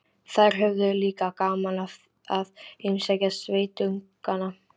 Þær höfðu líka gaman af að heimsækja sveitungana.